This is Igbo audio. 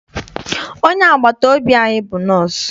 Onye agbata obi anyị bụ nọsụ.